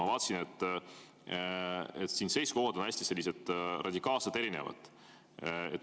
Ma vaatasin, et siin seisukohad on radikaalselt erinevad.